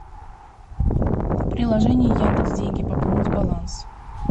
приложение яндекс деньги пополнить баланс